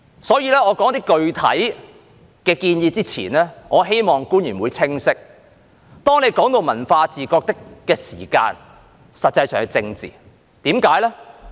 在我說出一些具體建議之前，我希望官員會清晰，當談及文化自覺的時候，實際上是政治，為甚麼呢？